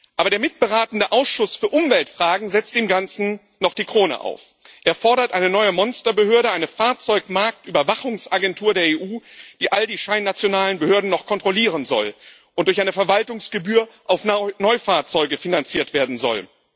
Aber der mitberatende Ausschuss für Umweltfragen setzt dem Ganzen noch die Krone auf. Er fordert eine neue Monsterbehörde, eine Fahrzeugmarktüberwachungsagentur der EU, die all die scheinnationalen Behörden noch kontrollieren soll und durch eine Verwaltungsgebühr auf Neufahrzeuge finanziert werden soll.